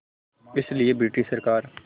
इसलिए ब्रिटिश सरकार